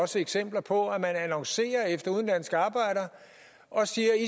også eksempler på at man annoncerer efter udenlandske arbejdere og siger at